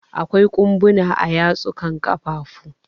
Akwai ƙumbuna a yatsu ka ƙafafu.